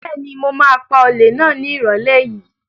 Bẹ́ẹ̀ni, mo ma pa olè náà ní ìrọ̀lẹ́ yìí